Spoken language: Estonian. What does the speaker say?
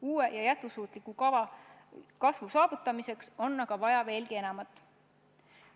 Uue ja jätkusuutliku kasvu saavutamiseks on aga vaja veelgi enamat.